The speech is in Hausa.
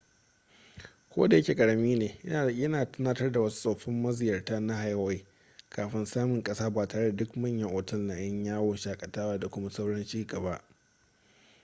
kodayake ƙarami ne yana tunatar da wasu tsoffin maziyarta na hawaii kafin samin ƙasa ba tare da duk manyan otal na 'yan yawon shakatawa da kuma sauran cigaba